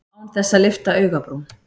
Án þess að lyfta augabrún.